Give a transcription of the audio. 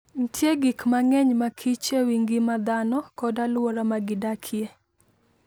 Nitie gik mang'eny makich e wi ngima dhano kod alwora ma gidakie.